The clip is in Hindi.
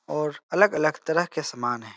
और अलग-अलग तरह के सामान है।